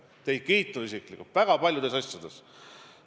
Ma olen teid isiklikult kiitnud väga paljude asjade eest.